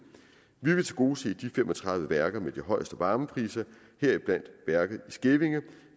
vi vil tilgodese de fem og tredive værker med de højeste varmepriser heriblandt værket i skævinge